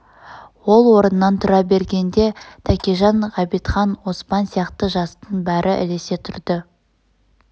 ол орнынан тұра бергенде тәкежан ғабитхан оспан сияқты жастың бәрі ілесе тұрды